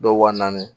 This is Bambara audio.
Dɔw wa naani